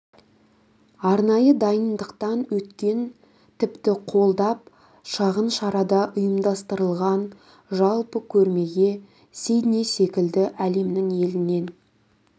арнайы дайындықтан өткен тіпті қолдап шағын шара да ұйымдастырған жалпы көрмеге сидней секілді әлемнің елінен